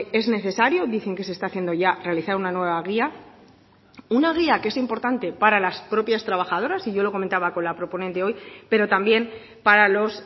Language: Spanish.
es necesario dicen que se está haciendo ya realizar una nueva guía una guía que es importante para las propias trabajadoras y yo lo comentaba con la proponente hoy pero también para los